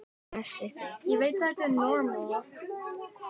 Blessi þig.